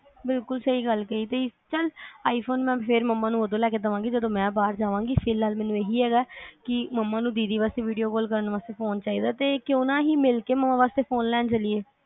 ਬਿਲਕੁਲ ਸਹੀ ਗੱਲ ਕਹੀ ਤੁਹੀ ਚੱਲ i phone ਫਿਰ ਮੈਂ ਮੰਮਾ ਨੂੰ ਉਦੋਂ ਲੈ ਕੇ ਦੇਵਾਂਗੀ ਜਦੋ ਮੈਂ ਬਾਹਰ ਜਾਵਾਗੀ ਫਿਲਹਾਲ ਮੈਨੂੰ ਇਹੀ ਹੈਗਾ ਮੰਮਾ ਨੂੰ ਦੀਦੀ ਵਾਸਤੇ video call ਕਰਨ ਵਾਸਤੇ ਫੋਨ ਚਾਹੀਦਾ ਕਿਊ ਨਾ ਅਸੀ ਮਿਲ ਕੇ ਮੰਮਾ ਵਾਸਤੇ ਫੋਨ ਲੈਣ ਚਲੀਏ